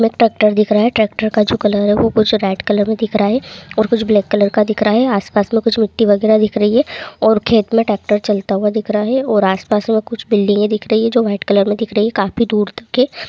में एक ट्रेक्टर दिख रहा है| ट्रेक्टर का जो कलर है वो मुझे रेड कलर में दिख रहा है और कुछ ब्लैक कलर का दिख रहा है| आस-पास में कुछ मिट्टी वगेरह दिख रही है और खेत में ट्रेक्टर चलता हुआ दिख रहा है| और आस-पास में कुछ बिल्डिंगे दिख रही है वाइट कलर में दिख रही है काफी दूर तक की।